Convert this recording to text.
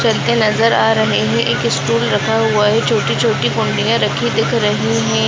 चद्दर नजर आ रहे हैं। एक स्टूल रखा हुआ है। छोटी-छोटी कुंडियां नजर आ रही हैं।